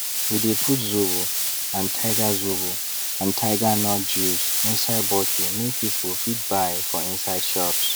we de put zobo and tiger zobo and tiger nut juice inside bottle make people fit buy for inside shops